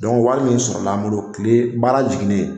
wari min sɔrɔ an bolo kile baara jiginnen.